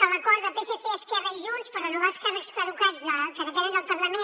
que l’acord del psc esquerra i junts per renovar els càrrecs caducats que depenen del parlament